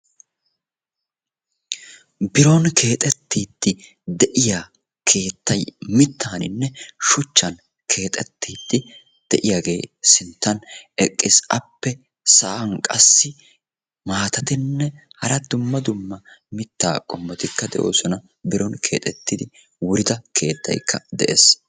Biron keexettiidi de'iya keettay mittaaninne shuchchan keexettiiddi de'iyagee sinttan eqqiis. Appe sa'an qassi maatatinne hara dumma dumma mittaa qommotikka de'oosona Biron keexettidi wurida keettaykka de'ees.